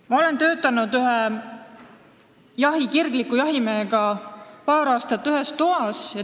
Ma olen paar aastat ühe kirgliku jahimehega ühes toas töötanud.